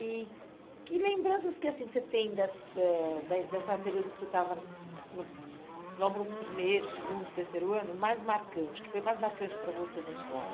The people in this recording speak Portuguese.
E que lembranças que assim você tem da da da eh dessa período que você estava no logo no primeiro, segundo, terceiro ano mais marcante, que foi mais marcante para você na escola?